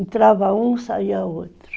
Entrava um, saía outro.